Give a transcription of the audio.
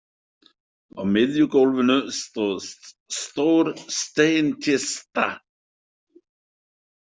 Á miðju gólfinu stóð stór steinkista.